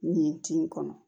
Nin tin kɔnɔ